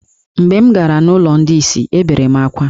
Mgbe m gara n’ụlọ ndị ìsì, ebere m akwa.